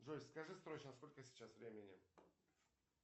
джой скажи срочно сколько сейчас времени